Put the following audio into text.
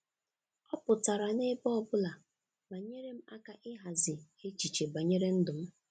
Ọ pụtara n'ebe ọ bụla ma nyere m aka ịhazi echiche banyere ndụm.